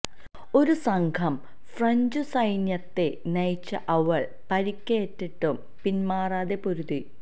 ഒരു സംഘം ഫ്രഞ്ചു സൈന്യത്തെ നയിച്ച അവൾ പരിക്കേറ്റിട്ടും പിന്മാറാതെ പൊരുതി